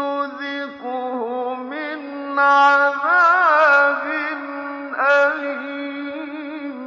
نُّذِقْهُ مِنْ عَذَابٍ أَلِيمٍ